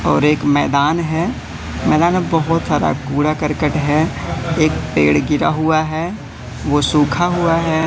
और एक मैदान है। मैदान में बहोत सारा कूड़ा करकट है। एक पेड़ गिरा हुआ है। वो सूखा हुआ है।